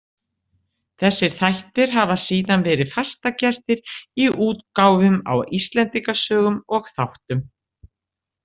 Þessir þættir hafa síðan verið fastagestir í útgáfum á Íslendingasögum og þáttum.